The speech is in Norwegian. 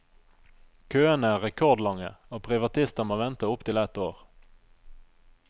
Køene er rekordlange, og privatister må vente opptil ett år.